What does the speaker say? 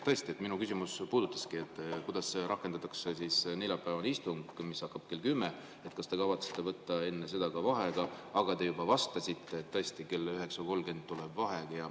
Tõesti, mu küsimus oleks puudutanudki seda, kuidas rakendatakse neljapäevast istungit, mis hakkab kell kümme, et kas te kavatsete võtta enne seda vaheaja, aga te juba vastasite, et tõesti kell 9.30 tuleb vaheaeg.